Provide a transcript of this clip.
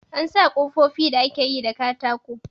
An sa kofofi da ake yi da katako.